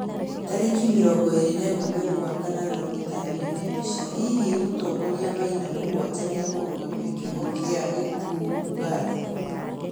tarĩkĩ 21mweri wa kanana ugĩtarĩrĩo nĩ mbica, hĩhĩ mũtongorĩa maina mũgwanja nĩakũrũgamĩa kĩoho kĩa gĩkũũ Uganda